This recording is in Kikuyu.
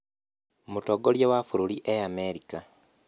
mũtongoria wa bũrũri e America